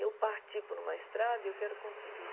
Eu parti por uma estrada e eu quero conseguir.